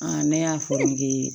ne y'a fɔ nge